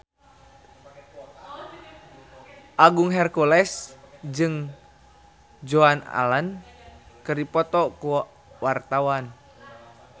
Agung Hercules jeung Joan Allen keur dipoto ku wartawan